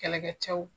Kɛlɛkɛcɛw